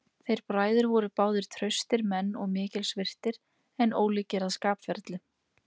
Þeir bræður voru báðir traustir menn og mikils virtir, en ólíkir að skapferli.